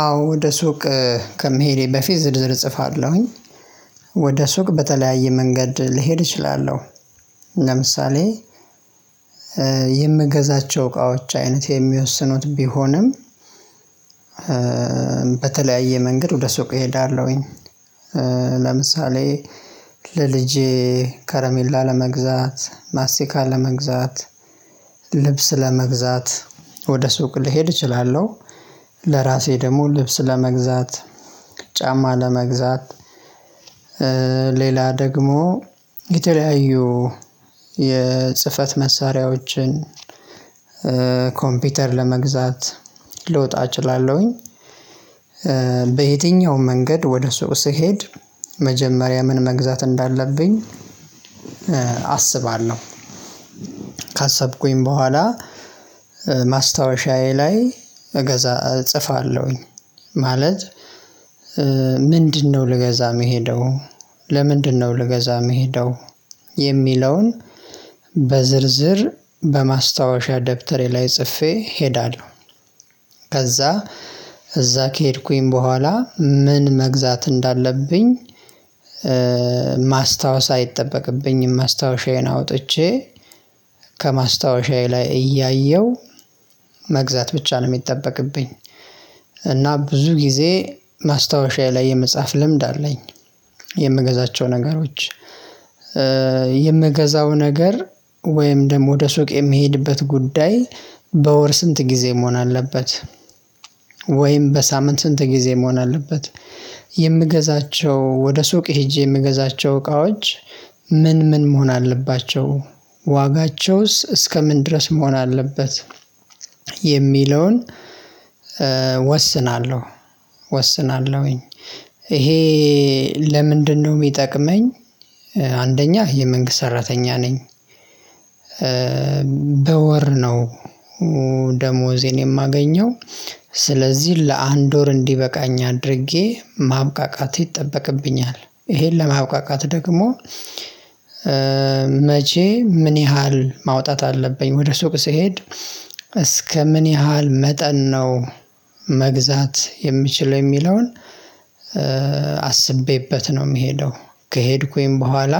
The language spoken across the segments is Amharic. አዎ ወደ ሱቅ ከመሄዴ በፊት ዝርዝር እጽፋለሁኝ። ወደ ሱቅ በተለያየ መንገድ ለሄድ እችላለሁ። ለምሳሌ የምገዛቸው እቃዎች አይነትየሚወስኑት ቢሆኑም። በተለያየ መንገድ ወደ ሱቅ እሄዳለሁኝ። ለምሳሌ ለልጄ ከረሜላ ለመግዛት ማስቲካ። ልብስ ለመግዛት ወደ ሱቅ ልሄድ እችላለሁ። ለራሴ ደግሞ ልብስ ለመግዛት ጫማ ለመግዛት ሌላ ደግሞ የተለያዩ የ ጽፈት መሳሪያዎችን ኮምፒውተር ለመግዛት ልወጣ እቺላለሁኝ። በዬትኛውም መንገድ ወደ ሱቅ ስሄድ መጀመሪያ ምን መግዛት እንዳለብኝ አስባለሁ። ካሰብኩኝ በኋላ ማስታወሻዬ ላይ እጽፋለሁኝ። ማለት ምንድነው ልገዛ የምሄደው ለምንድነው የሚለዉን በዝርዝር በማስታወሻ ደብተር ላይ ጽፌ እሄዳለሁ። ከዛ እዛ ከሄድኩኝ በኋላ ምን መግዛት እንዳለብኝ ማስታወስ አይጠበቅብኝም ማስታወሻዬን አዉጥቼ ከማስታወሻዬ ላይ እያየሁ መግዛት ብቻ ነው የሚጠበቅብኝ። እና ብዙ ጊዜ ማስታወሻዬ ላይ የመጻፍ ልምድ አለኝ። የምገዛቸው ነገሮች የምገዛው ነገር ወይም ደግሞ ወደ ሱቅ የምሄድበት ጉዳይ በወር ስንት ጊዜ መሆን አለበት? ወይም በሳምንት ስንት ጊዜ መሆን አለበት? የምገዛቸው ወደ ሱቅ ሄጄ የምገዛቸው እቃዎች ምን ምን መሆን አለባቸው? ዋጋቸዉስ እስከ ምን ድረስ መሆን አለበት? የሚለዉን ወስናለሁ ወስናለሁኝ ይሄ ለምንድነው የሚጠቅመኝ? አንደኛ የመንግስት ሰራተኛ ነኝ። በወር ነው ደሞዜን የማገኘው ስለዚህ ለአንድ ወር እንዲበቃኝ አድርጌ ማብቃቃት ይጠበቅብኛል። ይሄን ለማብቃቃት ደግሞ መቼ ምን ያህል ማዉጣት አለብኝ ወደ ሱቅ ስሄድ እስከ ምን ያህል መጠን ነው መግዛት የምችለው የሚለዉን? አስቤበት ነው የምሄደው ከሄድኩኝ በኋላ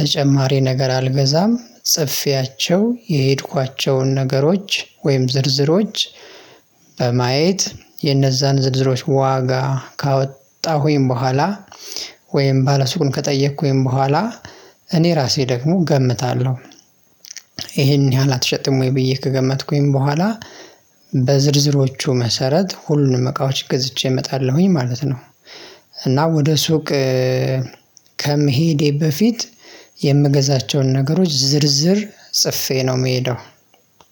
ተጨማሪ ነገር አልገዛም። ጽፌቸው የሄድኳቸውን ነገሮች ወይም ዝርዝሮች በማየት ዋጋ ካወጣሁኝ ወይም ባለሱቁን ከጠየኩኝ በኋላ እኔ ራሴ ደግሞ እገምታለሁ። ይሄን ያህል አትሸጥም ወይ ብዬ ከገመትኩኝ በኋላ በዝርዝሮቹ መስራት ሁሉንም እቃዎች ገዝቼ እመጣለሁ ማለት ነው። እና ወደ ሱቅ ከመሄዴ በፊት የምገዛቸውን ነገሮች ዝርዝር ጽፌ ነው የምሄደው።